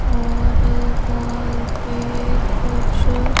और वॉल पे कुछ--